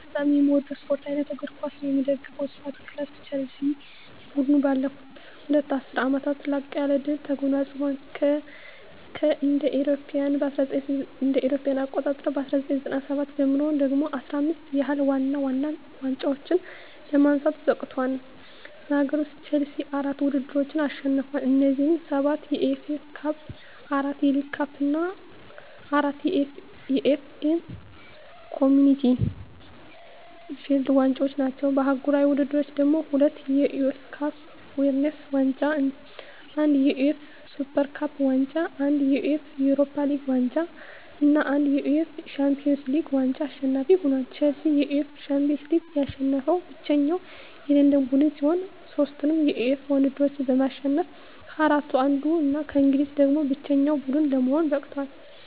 በጣም ምወደው ስፓርት አይነት እግር ኳስ ነው። ምደግፈው ስፓርት ክለብ ቸልሲ። ቡድኑ ባለፉት ሁለት ዐሥርት ዓመታት ላቅ ያለ ድል ተጎናጽፏል። ከእ.ኤ.አ 1997 ጀምሮ ደግሞ 15 ያህል ዋና ዋና ዋንጫዎችን ለማንሳት በቅቷል። በአገር ውስጥ፣ ቼልሲ አራት ውድድሮችን አሸንፏል። እነዚህም፤ ሰባት የኤፍ ኤ ካፕ፣ አራት የሊግ ካፕ እና አራት የኤፍ ኤ ኮምዩኒቲ ሺልድ ዋንጫዎች ናቸው። በአህጉራዊ ውድድሮች ደግሞ፤ ሁለት የዩኤፋ ካፕ ዊነርስ ዋንጫ፣ አንድ የዩኤፋ ሱፐር ካፕ ዋንጫ፣ አንድ የዩኤፋ ዩሮፓ ሊግ ዋንጫ እና አንድ የዩኤፋ ሻምፒዮንስ ሊግ ዋንጫ አሸናፊ ሆኖአል። ቼልሲ የዩኤፋ ሻምፒዮንስ ሊግን ያሸነፈ ብቸኛው የለንደን ቡድን ሲሆን፣ ሦስቱንም የዩኤፋ ውድድሮች በማሸነፍ ከአራቱ አንዱ እና ከእንግሊዝ ደግሞ ብቸኛው ቡድን ለመሆን በቅቷል።